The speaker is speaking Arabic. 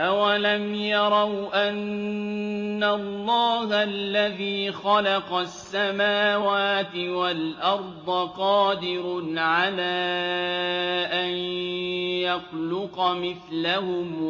۞ أَوَلَمْ يَرَوْا أَنَّ اللَّهَ الَّذِي خَلَقَ السَّمَاوَاتِ وَالْأَرْضَ قَادِرٌ عَلَىٰ أَن يَخْلُقَ مِثْلَهُمْ